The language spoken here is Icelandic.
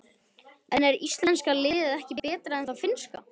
En er íslenska liðið ekki betra en það finnska?